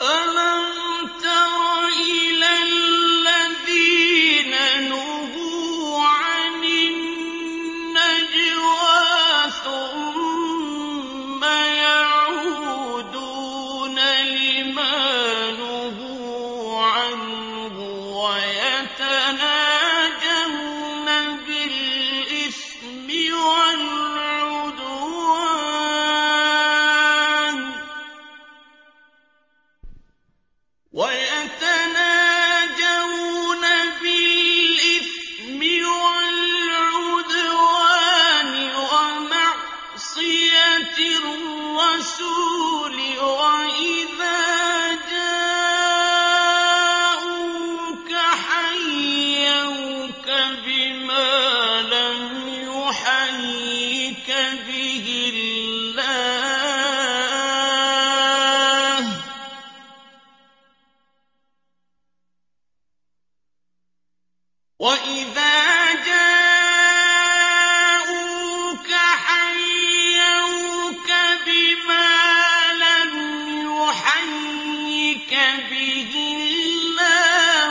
أَلَمْ تَرَ إِلَى الَّذِينَ نُهُوا عَنِ النَّجْوَىٰ ثُمَّ يَعُودُونَ لِمَا نُهُوا عَنْهُ وَيَتَنَاجَوْنَ بِالْإِثْمِ وَالْعُدْوَانِ وَمَعْصِيَتِ الرَّسُولِ وَإِذَا جَاءُوكَ حَيَّوْكَ بِمَا لَمْ يُحَيِّكَ بِهِ اللَّهُ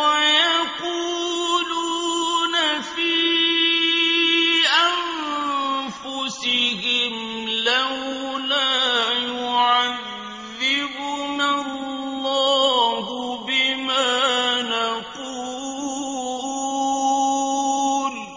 وَيَقُولُونَ فِي أَنفُسِهِمْ لَوْلَا يُعَذِّبُنَا اللَّهُ بِمَا نَقُولُ ۚ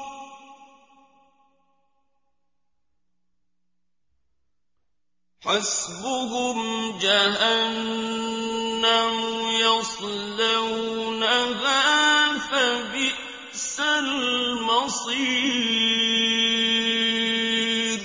حَسْبُهُمْ جَهَنَّمُ يَصْلَوْنَهَا ۖ فَبِئْسَ الْمَصِيرُ